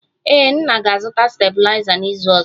Ee, nna ga-azụta stabiliza n'izu ọzọ